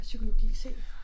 Psykologi C